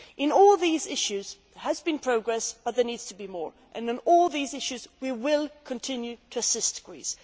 In all these issues there has been progress, but there needs to be more, and in all these issues we will continue to assist Greece.